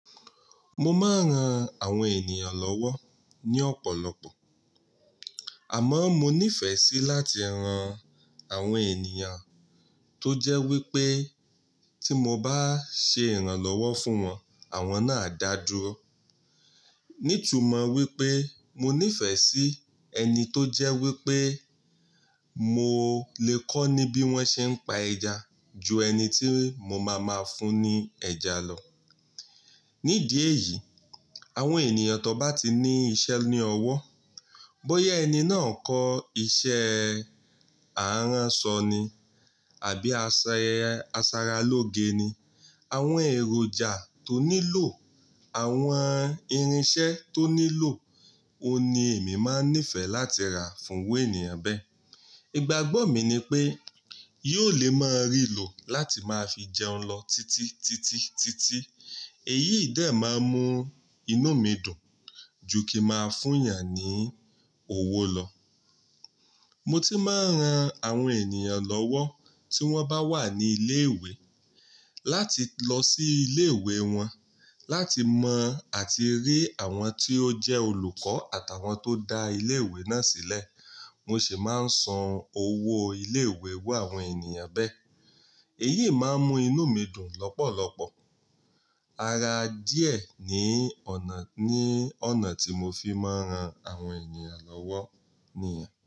Mo máa ń ran àwọn ènìyàn lọ́wọ́ ní ọ̀pọ̀lọpọ̀, àmọ́ mo nífẹ̀ẹ́ sí láti ran àwọn ènìyàn tó jẹ́ wípé tí mo bá ṣe ìrànlọ́wọ́ fún wọn, àwọn náà a dáa dúró. Ní tumọ̀ wípé mo nífẹ̀ẹ́ sí ẹni tó jẹ́ wípé mo lè kọ́ níbí wón ṣe ń pa ẹja ju ẹni tí mo máa máa fún ni ẹja lọ. Nídìí èyí, àwọn ènìyàn tó bá ti ní iṣẹ́ ní ọwọ́, bóyá ẹni náà kọ́ iṣẹ́ e aaránsọ ni àbí ase, asaralóge ni, àwọn èròjà tó nílò, àwọn irinṣẹ́ tó nílò, òun ni èmi máa ń nífẹ̀ẹ́ láti rà fún ru ènìyàn bẹ́ẹ̀. Ìgbàgbọ́ mi ni pé yóò lè máa rìlò láti máa fi jẹun lọ títí, títí, títí. Èyí dẹ máa ń mú inú mi dùn ju kí máa fún yàn ní owó lọ. Mo ti máa ń ran àwọn ènìyàn lọ́wọ́ tí wọ́n bá wà ní ilé ìwé, láti lọ sí ilé ìwé wọn, láti mọ̀ àti rí àwọn tí ó jẹ́ olùkọ́ àtàwọn tó dá ilé ìwé náà sílẹ̀. Mo sì máa ń san owó ilé ìwé iru awon ènìyàn bẹ́ẹ̀. Èyí máa ń mú inú mi dùn lọ́pọ̀lọpọ̀. Ara díẹ̀ ni ọ̀nà, ní ọ̀nà tí mo fi máa ń ran àwọn ènìyàn lọ́wọ́ níyẹn.